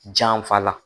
Janfa la